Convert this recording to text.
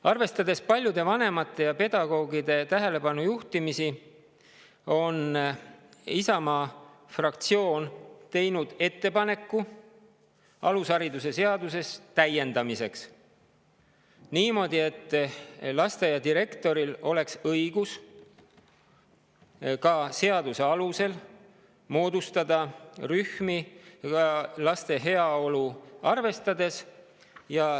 Arvestades paljude vanemate ja pedagoogide tähelepanujuhtimisi, on Isamaa fraktsioon teinud ettepaneku täiendada alusharidusseadust niimoodi, et lasteaia direktoril oleks seaduse järgi õigus moodustada rühmi laste heaolu arvestades.